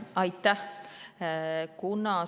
Aitäh!